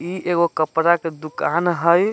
ई एगो कपड़ा के दूकान हई।